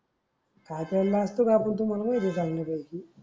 काही प्यायला लाजतो का तूम्हाला माहिती आहे करन त्यायची